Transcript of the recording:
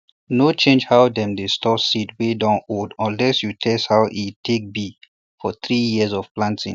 no change how dem dey store seed wey dun old unless you test aw e take be for three year of planting